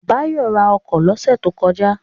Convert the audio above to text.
Báyọ̀ ra ọkọ̀ lọ́sẹ̀ tó kọjá